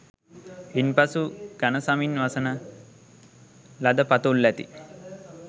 ඉන් පසු ඝන සමින් වසන ලද පතුල් ඇති